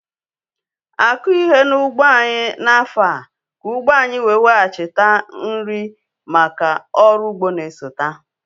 Akughi ihe n'ụgbọ anyị n'afọ ka ụgbo anyị wetaghachi nri make ọrụ ugbo n'esote